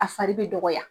A fari bɛ dɔgɔya